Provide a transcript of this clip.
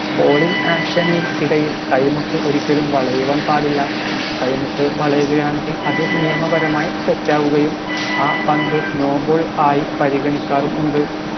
bowling action നുകൾ ഇടയിൽ കൈമുട്ട് ഒരിക്കലും വളയുവാൻ പാടില്ല കൈമുട്ട് വളയുകയാണെങ്കിൽ അത് നിയമപരമായി തെറ്റാവുകയും ആ പന്ത് no ball ആയി പരിഗണിക്കാറും ഉണ്ട്